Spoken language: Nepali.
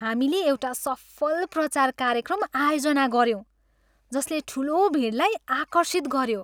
हामीले एउटा सफल प्रचार कार्यक्रम आयोजना गर्यौँ जसले ठुलो भिडलाई आकर्षित गऱ्यो।